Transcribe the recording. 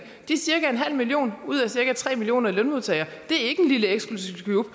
de cirka en halv million ud af cirka tre millioner lønmodtagere er ikke en lille eksklusiv klub